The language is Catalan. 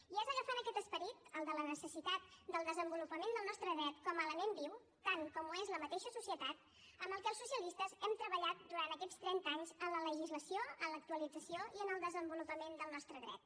i és agafant aquest esperit el de la necessitat del desenvolupament del nostre dret com a element viu tant com ho és la mateixa societat amb el que els socialistes hem treballat durant aquests trenta anys en la legislació en l’actualització i en el desenvolupament del nostre dret